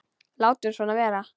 Látum svona vera.